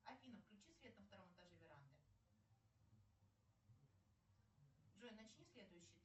афина включи свет на втором этаже веранды джой начни следующий